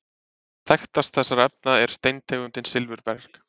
Þekktast þessara efna er steintegundin silfurberg.